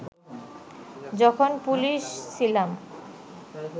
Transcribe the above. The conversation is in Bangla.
যখন পুলিশ ছিলাম